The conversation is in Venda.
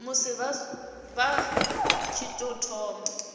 musi vha tshi tou thoma